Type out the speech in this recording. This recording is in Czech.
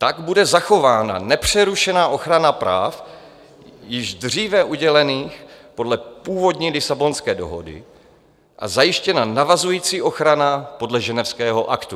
Tak bude zachována nepřerušená ochrana práv již dříve udělených podle původní Lisabonské dohody a zajištěna navazující ochrana podle Ženevského aktu.